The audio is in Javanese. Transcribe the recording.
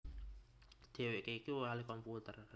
Dhèwèké iku ahli komputer